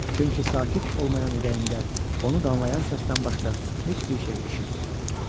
Çünki sakit olmayan ürəyində onu danlayan səsdən başqa heç bir şey eşitmirdi.